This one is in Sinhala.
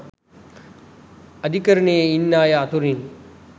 අධිකරණයේ ඉන්න අය අතරින්